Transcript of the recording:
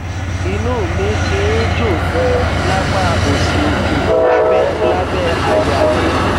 inú mi ti ń jó ganan lápá òsì òkè lábẹ lábẹ àyà mi